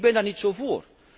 Ik ben daar niet zo voor.